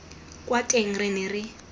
kwa teng re ne re